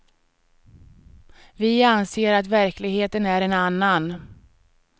Vi anser att verkligheten är en annan.